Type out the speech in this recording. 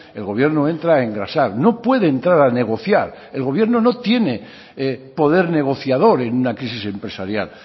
el gobierno entra a engrasar no puede entrar a negociar el gobierno no tiene poder negociador en una crisis empresarial